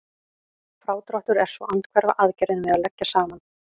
Frádráttur er svo andhverfa aðgerðin við að leggja saman.